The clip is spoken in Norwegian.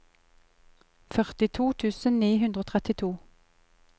førtito tusen ni hundre og trettito